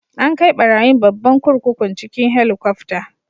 An kai barayin babban kurkukun cikin Helikwafta.